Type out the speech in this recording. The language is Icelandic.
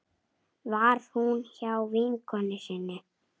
Var hún hjá vinkonu sinni?